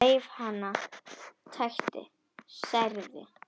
Reif hana, tætti, særði.